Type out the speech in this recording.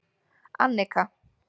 Annika